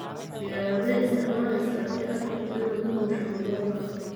Diyarade isticmaleysa hadi aad rabto inad uuduusho Angola.